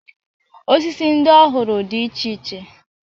Osisi ndị ọ hụrụ dị iche iche.